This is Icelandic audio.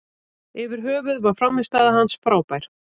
Yfir höfuð var frammistaða hans frábær.